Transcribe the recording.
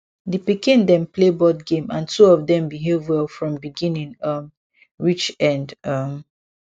di pikin dem play board game and two of dem behave well from beginning um reach end um